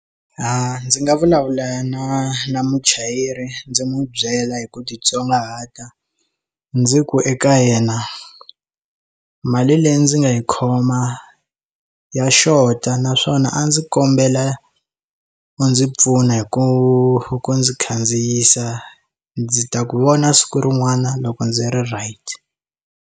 A ndzi nga vulavula na na muchayeri ndzi n'wi byela hi ku titsongahata ndzi ku eka yena mali leyi ndzi nga yi khoma ya xota naswona a ndzi kombela u ndzi pfuna hi ku ndzi khandziyisa ndzi ta ku vona siku rin'wana loko ndzi ri right.